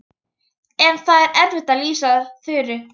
En það er erfitt að lýsa Þuru.